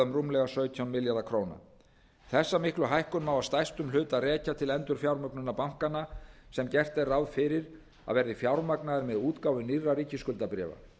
rúmlega sautján milljarða króna þessa miklu hækkun má að stærstum hluta rekja til endurfjármögnunar bankanna sem gert er ráð fyrir að verði fjármagnaðir með útgáfu nýrra ríkisskuldabréfa